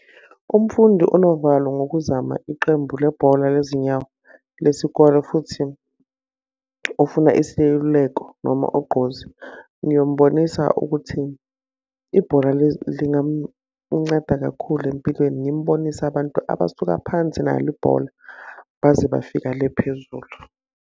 Umfundi onovalo ngokuzama iqembu lebhola lezinyawo lesikole futhi ofuna iseluleko noma ugqozi, ngiyombonisa ukuthi, ibhola lingamunceda kakhulu empilweni. Ngimbonise abantu abasuka phansi nalo ibhola baze bafika le phezulu.